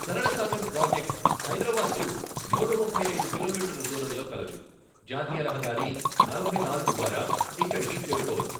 సరళ సాగర్ ప్రాజెక్ట్ హైదరాబాద్ కు నూట ముప్పై ఐదు కిలోమీటర్ల దూరంలో కలదు, జాతీయ రహదారి నలభై నాలుగు ద్వారా ఇక్కడికిి చేరుకోవచ్చు.